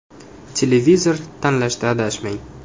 Televizor tanlashda adashmang.